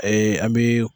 an bɛ